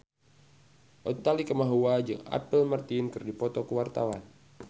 Utha Likumahua jeung Apple Martin keur dipoto ku wartawan